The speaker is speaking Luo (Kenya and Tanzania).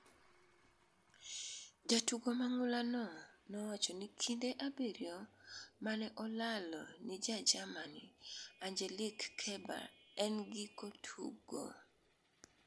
jatugo mang'ula no nowacho ni kinde abiriyo mane olalo ni ja Germany Angelique Kerber e giko tugo